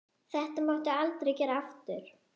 Þetta máttu aldrei gera aftur!